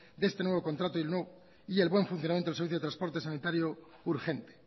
de este nuevo contrato y el buen funcionamiento del servicio de transporte sanitario urgente